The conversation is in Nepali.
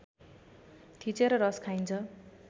थिचेर रस खाइन्छ